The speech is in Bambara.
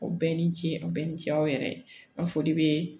O bɛɛ ni ce a bɛɛ ni ce aw yɛrɛ ye a foli be